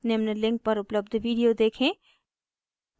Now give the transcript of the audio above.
निम्न link पर उपलब्ध video देखें